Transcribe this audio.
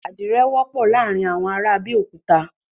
Adirẹ wọpọ laarin awọn ara Abeokuta